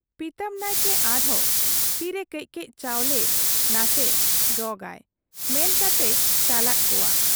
ᱯᱤᱛᱟᱹᱢ ᱱᱟᱭᱠᱮ ᱟᱨᱦᱚᱸ ᱛᱤᱨᱮ ᱠᱟᱹᱡ ᱠᱟᱹᱡ ᱪᱟᱣᱞᱮ ᱱᱟᱥᱮ ᱜᱚᱸᱜᱟᱭ ᱢᱮᱱ ᱠᱟᱛᱮᱭ ᱪᱟᱞᱟᱫ ᱠᱚᱣᱟ ᱾